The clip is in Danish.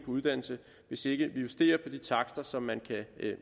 uddannelse hvis ikke vi justerer på de takster som man kan